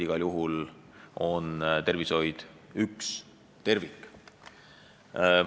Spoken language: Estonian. Igal juhul on tervishoid üks tervik.